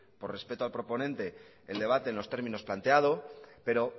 por respeto al proponente el debate en los términos planteado pero